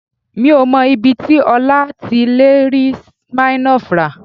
Mi ò mọ ibi tí Ọlá ti lè rí Smirnoff rà